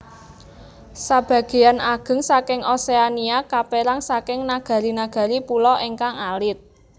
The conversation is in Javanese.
Sabagéyan ageng saking Oseania kapèrang saking nagari nagari pulo ingkang alit